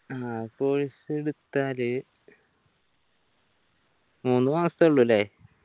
ആ course എടുത്താൽ മൂന്നുമാസ ഉള്ളു അല്ലേ